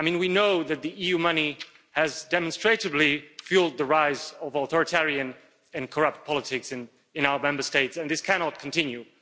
We know that EU money has demonstrably fuelled the rise of authoritarian and corrupt politics in our Member States and this cannot continue.